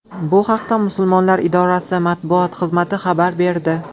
Bu haqda Musulmonlar idorasi matbuot xizmati xabar berdi .